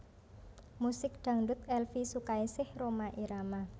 Musik Dangdut Elvie Sukaesih Rhoma Irama